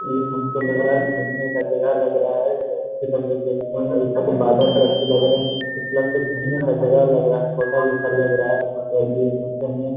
ये हमको लग रहा है घूमने का जगह लग रहा है। अच्छे लग रहे देखने में बादल भी अच्छे लग रहे। घूमने का जगह लग रहा है। होटल जैसा लग रहा और ये --